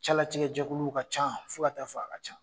Calatigɛ jɛkuluw ka ca fɔ ka t'a fɔ a ka ca